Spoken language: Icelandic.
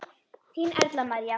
Þín Erla María.